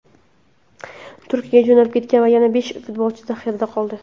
Turkiyaga jo‘nab ketgan yana besh futbolchi zaxirada qoldi.